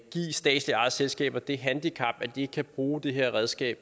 statsligt ejede selskaber det handicap at de ikke kan bruge det her redskab